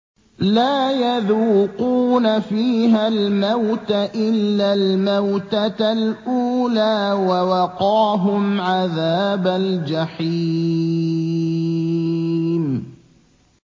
لَا يَذُوقُونَ فِيهَا الْمَوْتَ إِلَّا الْمَوْتَةَ الْأُولَىٰ ۖ وَوَقَاهُمْ عَذَابَ الْجَحِيمِ